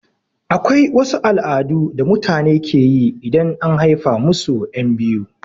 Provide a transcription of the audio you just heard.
Akwai wasu al'adu da mutane keyi idan and haifa musu ƴan biyu